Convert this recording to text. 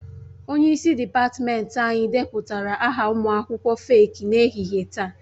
Onye isi dịpatmenti anyị depụtara aha ụmụ akwụkwọ feeki n'ehihie taa